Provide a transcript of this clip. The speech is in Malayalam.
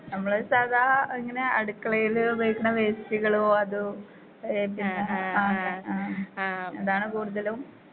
നമ്മള് സാധാ ഇങ്ങനെ അടുക്കളേല് ഉപയോഗിക്ക്ണ വേസ്റ്റുകളോ അതോ ഏ പിന്നെ ആ ആ അതാണ് കൂടുതലും.